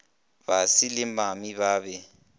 basi le mami ba be